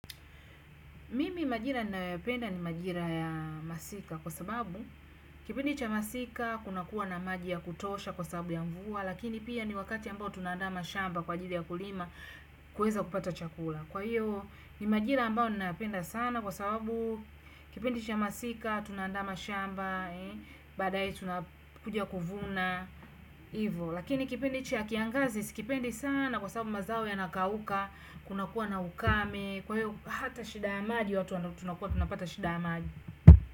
Mimi majira ninayoyapenda ni majira ya masika kwa sababu kipindi cha masika kuna kuwa na maji ya kutosha kwa sababu ya mvua lakini pia ni wakati ambao tunaandaa mashamba kwa ajili ya kulima kuweza kupata chakula. Kwa hiyo ni majira ambao ninayapenda sana kwa sababu kipindi cha masika tunaandaa mashamba baadae tunakuja kuvuna. Hivo, lakini kipindi chia kiangazi sikipendi sana kwa sababu mazao yanakauka kuna kuwa na ukame kwa hiyo hata shida ya maji watu wana tunakuwa tunapata shida ya maji.